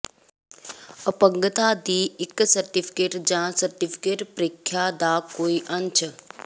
ਅਪੰਗਤਾ ਦੀ ਇੱਕ ਸਰਟੀਫਿਕੇਟ ਜ ਸਰਟੀਫਿਕੇਟ ਪ੍ਰੀਖਿਆ ਦਾ ਕੋਈ ਅੰਸ਼